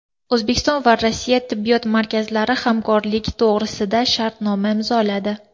O‘zbekiston va Rossiya tibbiyot markazlari hamkorlik to‘g‘risida shartnoma imzoladi.